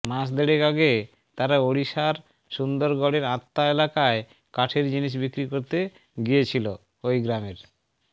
মাস দেড়েক আগে তারা ওড়িশার সুন্দরগড়ের আত্মা এলাকায় কাঠের জিনিস বিক্রি করতে গিয়েছিল ওই গ্রামের